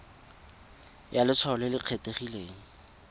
ya letshwao le le kgethegileng